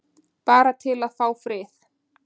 Bara til að fá frið.